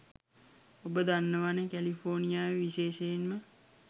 ඔබ දන්නවනෙ කැලිෆෝනියාවේ විශේෂයෙන්ම